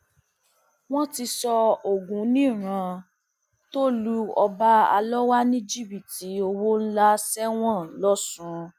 wọn ti sọ ọgùnnìrán tó lu ọba alọwà ní jìbìtì owó ńlá sẹwọn lọsùn